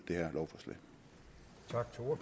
det